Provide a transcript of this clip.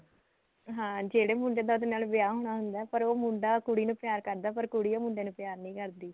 ਹਾਂ ਜਿਹੜੇ ਮੁੰਡੇ ਦਾ ਉਹਦੇ ਨਾਲ ਵਿਆਹ ਹੋਣਾ ਹੁੰਦਾ ਪਰ ਉਹ ਮੁੰਡਾ ਕੁੜੀ ਨੂੰ ਪਿਆਰ ਕਰਦਾ ਪਰ ਕੁੜੀ ਉਹ ਮੁੰਡੇ ਨੂੰ ਪਿਆਰ ਨਹੀਂ ਕਰਦੀ